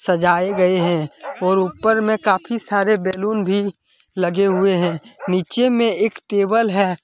सजाए गए है और ऊपर में काफी सारे बैलून भी लगे हुवे हैं नीचे में एक टेबल है।